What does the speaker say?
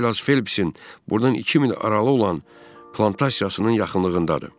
Saylas Felipisin burdan iki mil aralı olan plantasiyasının yaxınlığındadır.